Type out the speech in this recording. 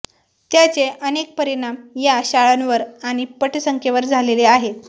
त्याचे अनेक परिणाम या शाळांवर आणि पटसंख्येवर झालेले आहेत